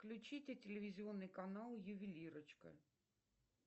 включите телевизионный канал ювелирочка